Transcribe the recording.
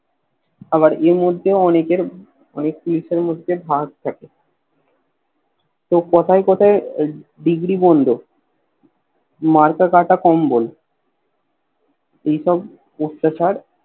আবার এর মধ্যেও অনেকের অনেক জিনিসের মধ্যে ভাগ থাকে তো কোথায় কোথায় দিগরী বন্ধ মার্কা কাটা কম্বল এসব অট্টাচার